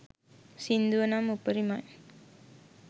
සින්දුව නම් උපරිමයි.